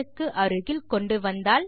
க்கு அருகில் கொண்டுவந்தால்